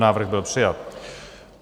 Návrh byl přijat.